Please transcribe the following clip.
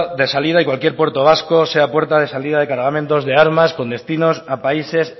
de salida y cualquier puerto vasco sea puerta de salida de cargamentos de armas con destinos a países